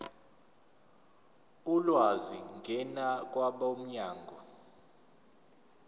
ulwazi ngena kwabomnyango